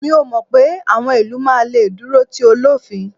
mi o mọ pé awọn ilu ma le duro ti olofin